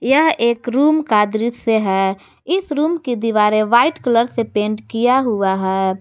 यह एक रूम का दृश्य है इस रूम की दीवारे वाइट कलर से पेंट किया हुआ है।